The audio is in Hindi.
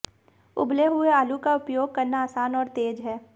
उबले हुए आलू का उपयोग करना आसान और तेज़ है